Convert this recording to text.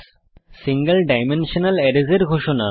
single dimensional arrays এর ঘোষণা